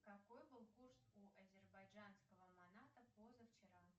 какой был курс у азербайджанского маната позавчера